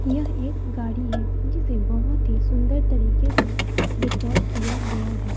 यह एक गाड़ी है जिसे बहुत ही सुंदर तरीके से डेकोर किया गया है।